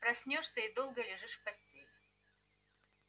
проснёшься и долго лежишь в постели